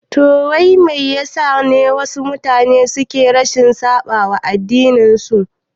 Toh wai Me yasa ne wasu mutane suke rashin saɓawa addinin su?